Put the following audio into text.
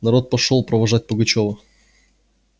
народ пошёл провожать пугачёва